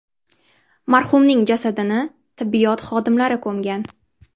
Marhumning jasadini tibbiyot xodimlari ko‘mgan.